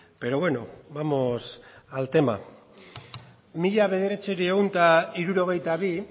pero bueno vamos al tema mila bederatziehun eta hirurogeita bian